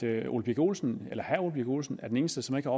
herre ole birk olesen birk olesen er den eneste som ikke